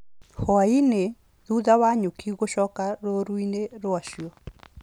Hwaĩ-inĩ, thutha wa nyuki gũcoka rũũru-inĩ rwacio